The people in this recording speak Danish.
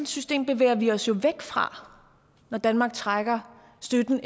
system bevæger vi os jo væk fra når danmark trækker støtten